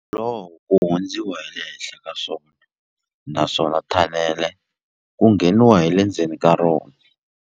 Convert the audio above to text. ku hundziwa hi le henhla ka swona naswona thanele ku ngheniwa hi le ndzeni ka rona.